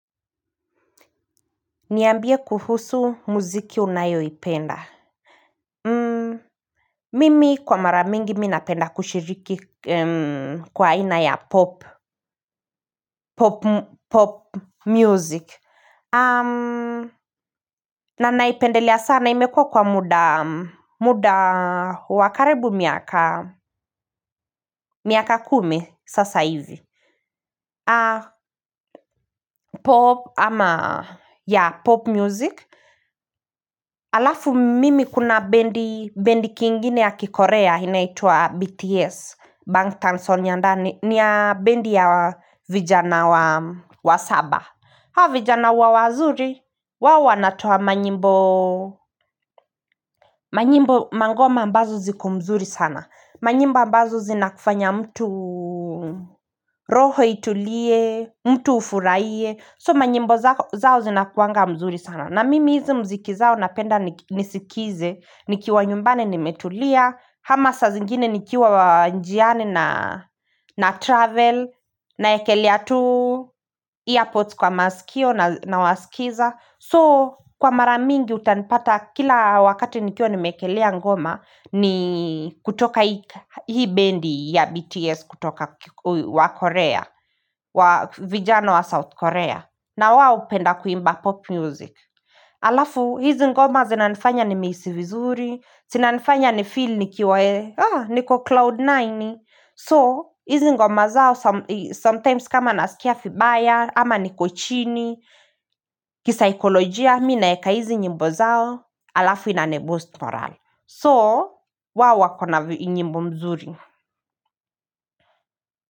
Niambie kuhusu muziki unayoipenda Mimi kwa mara mingi mimi napenda kushiriki kwa aina ya pop music na naipendelea sana imekua kwa muda wakaribu miaka kumi sasa hivi pop ama yeah pop music Alafu mimi kuna bandi Bandi kingine ya kikorea inaitwa BTS Bang Tanson yandani nia bandi ya vijana wa wa saba hao vijana huwa wazuri wao wanatoa manyimbo Mangoma ambazo ziko mzuri sana Manyimbo ambazo zinakufanya mtu roho itulie mtu ufurahie So manyimbo zao zinakuanga mzuri sana na mimi hizi mziki zao napenda nisikize nikiwa nyumbani nimetulia kama saa zingine nikiwa njiani na travel Naekelea tu Earpods kwa masikio na wasikiza So kwa mara mingi utanipata kila wakati nikiwa nimeekelea ngoma ni kutoka hii bendi ya BTS kutoka wa Korea wa vijana wa South Korea na wao hupenda kuimba pop music. Alafu, hizi ngoma zinanifanya nimehisi vizuri. Zinanifanya ni feel nikiwa ee. Haa, niko cloud nine. Niambie kuhusu muziki unayoipenda Mimi kwa mara mingi mimi napenda kushiriki kwa aina ya pop music na naipendelia sana imekua kwa muda wakarebu miaka kumi sasa hivi alafu inaniboost morale so wao wako na nyimbo mzuri.